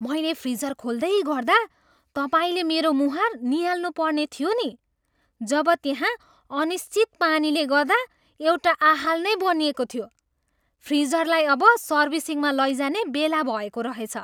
मैले फ्रिजर खोल्दै गर्दा तपाईँले मेरो मुहार नियाल्नु पर्नेथियो नि, जब त्यहाँ अनिश्चित पानीले गर्दा एउटा आहाल नै बनिएको थियो। फ्रिजरलाई अब सर्भिसिङमा लैजाने बेला भएको रहेछ।